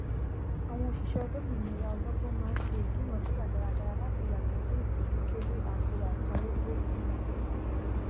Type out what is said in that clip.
àwọn òsíṣẹ olómìnira ọlọgbọn má n se ìdúnàádúrà dáradára láti yàgò fún ìfojúkéré àti àìsanwó pe fún wọn